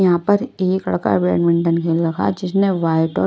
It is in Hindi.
यहां पर एक लड़क बैडमिंटन खेल रहा है जिसने वाइट और--